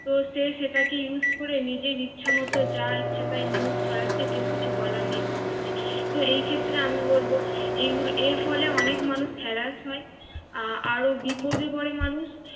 তো সে সেটাকে USE করে নিজের ইচ্ছামত যা ইচ্ছা তাই NEWS ছড়াচ্ছে কেউ কিছু বলার নেই কো মানে। তো এক্ষত্রে আমি বলব এর ফলে অনেক মানুষ হেলার হয় আহ আরো বিপদে পড়ে মানুষ।